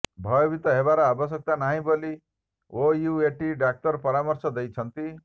ଭୟଭୀତ ହେବାର ଆବଶ୍ୟକତା ନାହିଁ ବୋଲି ଓୟୁଏଟି ଡାକ୍ତର ପରାମର୍ଶ ଦେଇଛନ୍ତି